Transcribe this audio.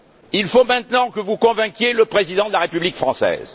Il faut maintenant que vous convainquiez le Président de la République française.